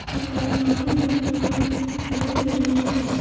एक अलमारी भी दिखाई दे रही है।